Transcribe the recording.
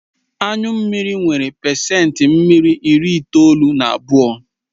Anyu mmiri nwere pacent mmiri ịri itoolu na abụọ